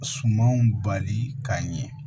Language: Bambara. Sumanw bali k'a ɲɛ